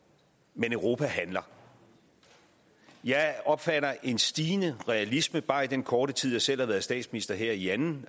men europa handler jeg opfatter en stigende realisme bare i den korte tid jeg selv har været statsminister her i anden